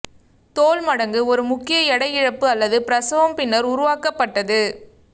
தோல் மடங்கு ஒரு முக்கிய எடை இழப்பு அல்லது பிரசவம் பின்னர் உருவாக்கப்பட்டது